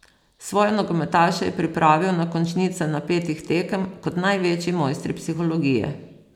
Svoje nogometaše je pripravil na končnice napetih tekem kot največji mojstri psihologije.